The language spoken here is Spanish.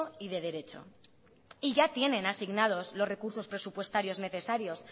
y de derecho y ya tienen asignados los recursos presupuestarios necesarios